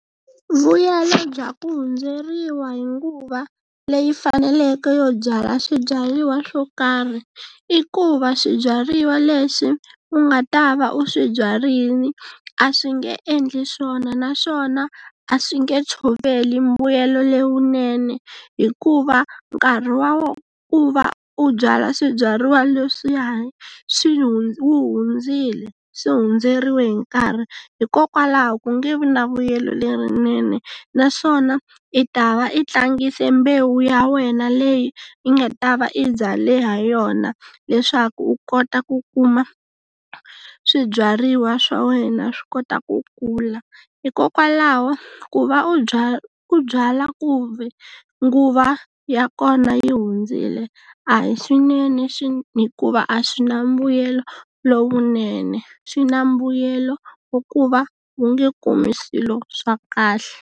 Vuyelo bya ku hundzeriwa hi nguva leyi faneleke yo byala swibyariwa swo karhi i ku va swibyariwa leswi u nga ta va u swi byarile a swi nge endli swona, naswona a swi nge tshoveli mbuyelo lowunene, hikuva nkarhi wa ku va u byala swibyariwa leswiyani swi hundzile swi hundzeriwe hi nkarhi. Hikokwalaho ku nge vi na vuyelo lerinene naswona i ta va i tlangise mbewu ya wena leyi u nga ta va i byale ha yona leswaku u kota ku kuma swibyariwa swa wena swi kota ku kula. Hikokwalaho ku va u byala u byala ku ve nguva ya kona yi hundzile a hi swinene hikuva a swi na mbuyelo lowunene swi na mbuyelo hikuva u nge kumi swilo swa kahle.